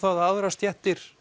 að aðrar stéttir